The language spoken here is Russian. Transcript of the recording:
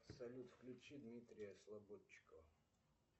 салют включи дмитрия слободчикова